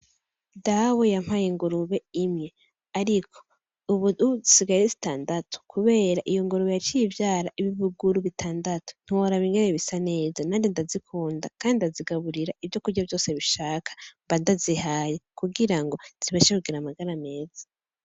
Dawe yampaye ingurube imwe, ariko ubu zisigaye ari zitandatu kubera iyo ngurube yaciye ivyara ibibuguru bitandatu, ntiworaba ingene bisa neza, nanje ndazikunda, kandi ndazigaburira ivyokurya vyose bishaka mba ndazihaye, kugira ngo zibashe kugira amagara meza.